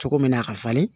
Cogo min na a ka falen